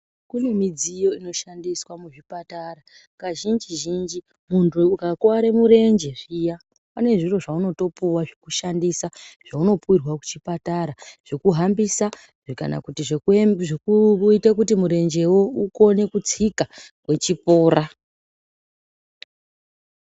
Kune midziyo inoshandiswa muchipatara. Kazhinji-zhinji muntu ukakuware murenje zviya pane zviro zvaunotopuwa zvekushandisa zvaunopuwirwa kuchipatara,, zvekuhambisa kana zvekuite kuti murenjewo ukone kutsika wechipora.